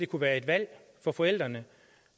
kunne være et valg for forældrene